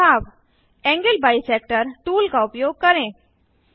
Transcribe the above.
सुझाव angle bisector tool का उपयोग करें